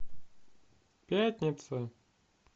пятница